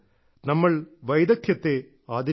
നമ്മൾ വൈദഗ്ധ്യത്തെ ആദരിക്കണം